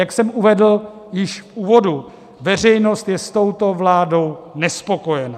Jak jsem uvedl již v úvodu, veřejnost je s touto vládou nespokojena.